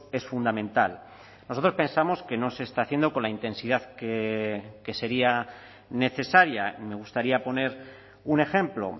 es fundamental nosotros pensamos que no se está haciendo con la intensidad que sería necesaria me gustaría poner un ejemplo